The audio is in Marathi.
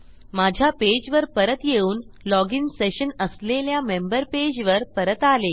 माझ्या पेजवर परत येऊन लॉजिन सेशन असलेल्या मेंबर पेजवर परत आले